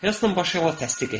Heston başı ilə təsdiq etdi.